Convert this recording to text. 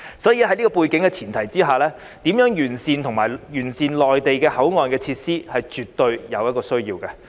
所以，在這背景前提下，完善與內地的口岸設施是絕對有需要的。